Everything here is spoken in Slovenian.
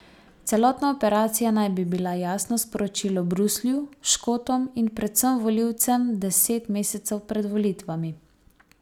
Celotna operacija naj bi bila jasno sporočilo Bruslju, Škotom in predvsem volilcem deset mesecev pred volitvami.